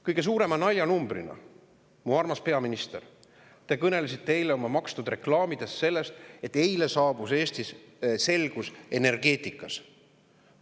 Kõige suurema naljanumbrina, mu armas peaminister, te kõnelesite eile oma makstud reklaamides sellest, et eile saabus Eestis selgus energeetikas.